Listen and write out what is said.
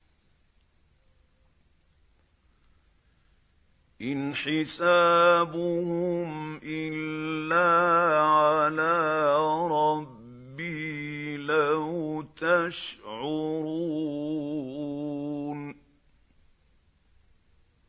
إِنْ حِسَابُهُمْ إِلَّا عَلَىٰ رَبِّي ۖ لَوْ تَشْعُرُونَ